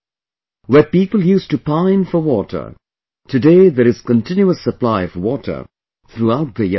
Where people used to pine for water, today there is continuous supply of water throughout the year